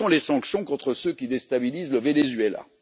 Où sont les sanctions contre ceux qui déstabilisent le Venezuela?